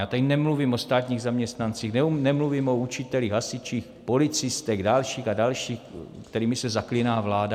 Já tady nemluvím o státních zaměstnancích, nemluvím o učitelích, hasičích, policistech, dalších a dalších, kterými se zaklíná vláda.